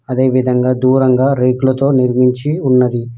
అదేవిధంగా దూరంగా రేకులతో నిర్మించి ఉన్నది.